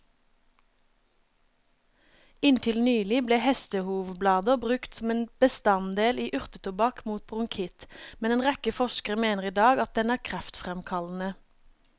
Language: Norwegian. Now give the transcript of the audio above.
Inntil nylig ble hestehovblader brukt som en bestanddel i urtetobakk mot bronkitt, men en rekke forskere mener i dag at den er kreftfremkallende.